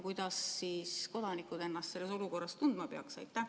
Kuidas siis kodanikud ennast selles olukorras tundma peaksid?